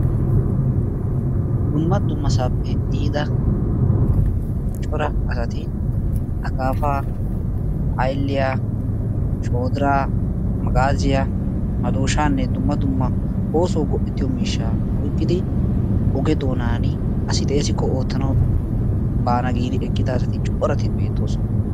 dumma dummasappe yiida cora asati akkaapaa, ayliyyaa, shoddiraa, maagazziya, maddooshshanne dumma dumma oosuwaw go''ettiyo miishshaa oyqqidi oge doonan asi xeessikko oottanaw baana giidi eqqida asati corati beettoosona.